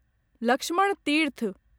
Lakshman Tirth